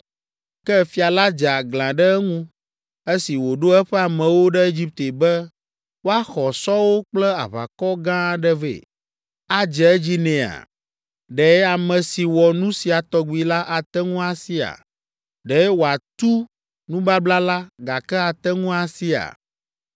Ke fia la dze aglã ɖe eŋu esi wòɖo eƒe amewo ɖe Egipte be woaxɔ sɔwo kple aʋakɔ gã aɖe vɛ. Adze edzi nɛa? Ɖe ame si wɔ nu sia tɔgbi la ate ŋu asia? Ɖe wòatu nubabla la, gake ate ŋu asia?’